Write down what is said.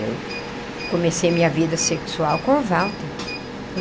Eu comecei minha vida sexual com o Walter.